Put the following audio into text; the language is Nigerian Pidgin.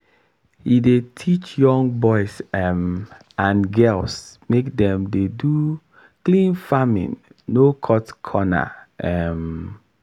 he dey teach young boys um and girls make dem dey do clean farming no cut corner. um